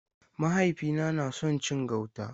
Mahaifina na son cin gauta.